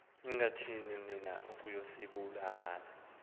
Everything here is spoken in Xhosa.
ningathini na ukuyisombulula